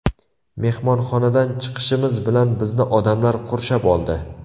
Mehmonxonadan chiqishimiz bilan bizni odamlar qurshab oldi.